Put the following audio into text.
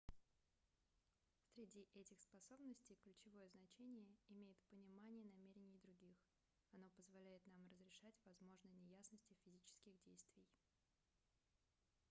среди этих способностей ключевое значение имеет понимание намерений других оно позволяет нам разрешать возможные неясности физических действий